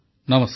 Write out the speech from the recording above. ନମସ୍କାର